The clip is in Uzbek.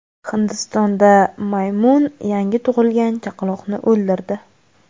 Hindistonda maymun yangi tug‘ilgan chaqaloqni o‘ldirdi.